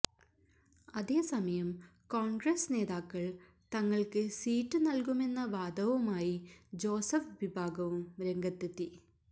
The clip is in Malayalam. അതേ സമയം കോൺഗ്രസ് നേതാക്കൾ തങ്ങൾക്ക് സീറ്റ് നൽകുമെന്ന വാദവുമായി ജോസഫ് വിഭാഗവും രംഗത്തെത്തി